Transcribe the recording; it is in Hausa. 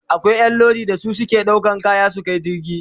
Akwai Ƴan Lodi da su suke ɗaukan kaya su Kai cikin jirgi